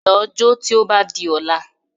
Lọ jó tí ó bá di ọ̀la